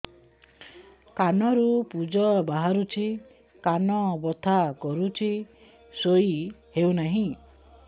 କାନ ରୁ ପୂଜ ବାହାରୁଛି କାନ ବଥା କରୁଛି ଶୋଇ ହେଉନାହିଁ